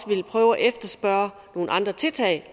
vil prøve at efterspørge nogle andre tiltag